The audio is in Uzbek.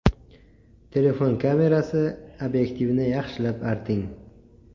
Telefon kamerasi obyektivini yaxshilab arting.